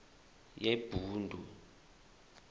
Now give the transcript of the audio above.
yebhundu